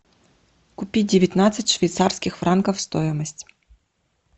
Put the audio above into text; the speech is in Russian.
купить девятнадцать швейцарских франков стоимость